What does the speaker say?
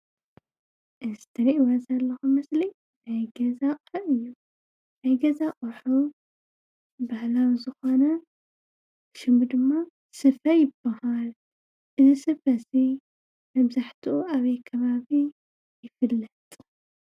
እዚ እትርእይዎ ዘለኩም ምስሊ ናይ ገዛ ኣቅሓ እዩ ።ናይ ገዛ ኣቁሑ ባህላዊ ዝኮነ ሽሙ ድማ ስፈ ይበሃል። እዚ ስፈ እዚ መብዛሕትኡ ኣበይ ከባቢ ይፍለጥ?